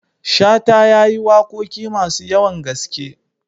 Shata ya yi waƙoƙi masu yawan gaske.